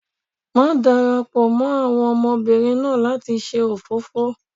má darapọ mọ àwọn ọmọbìnrin náà lati ṣe òfófó!